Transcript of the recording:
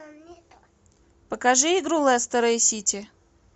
покажи игру лестера и сити